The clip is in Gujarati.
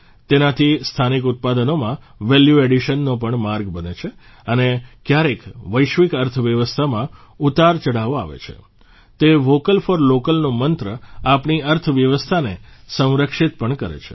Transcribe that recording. તેનાથી સ્થાનિક ઉત્પાદનોમાં વેલ્યુ એડિશનનો પણ માર્ગ બને છે અને ક્યારેક વૈશ્વિક અર્થવ્યવસ્થામાં ઉતારચઢાવ આવે છે તો વોકલ ફોર લોકલનો મંત્ર આપણી અર્થવ્યવસ્થાને સંરક્ષિત પણ કરે છે